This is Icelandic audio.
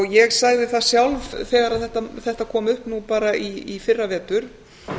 ég sagði það sjálf þegar þetta kom upp nú bara í fyrravetur